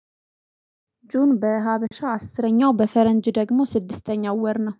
ጁን በሀበሻ አስረኛው በፈረንጅ ደግሞ ስድስተኛው ወር ነው